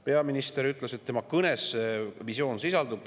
Peaminister ütles, et tema kõnes see visioon sisaldus.